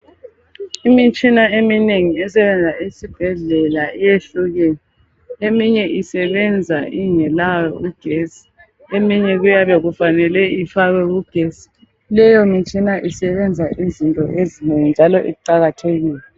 Imitshina eminengi esebenza esibhedlela iyehlukene , eminye isebenza ingelawo ugesi , eminye kuyabe kufanele ifakwe kugesi , leyomitshina isebenza izinto ezinengi njalo iqakathekile